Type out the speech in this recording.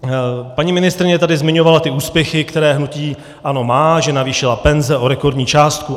Paní ministryně tady zmiňovala ty úspěchy, které hnutí ANO má, že navýšili penze o rekordní částku.